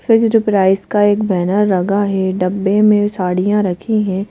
Fixed price का एक banner लगा है डब्बे में साड़ियां रखी हैं।